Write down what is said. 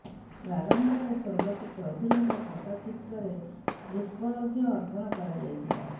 ପ୍ରାମ୍ଭରେ ସ୍ୱର୍ଗତ ଚୌଧୁରୀଙ୍କ ଫଟୋ ଚିତ୍ରରେ ପୁଷ୍ପଅର୍ଘ୍ୟ ଅର୍ପଣ କରାଯାଇଥିଲା